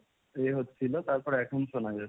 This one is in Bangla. এ হচ্ছিল তারপর এখন শোনা যাচ্ছে।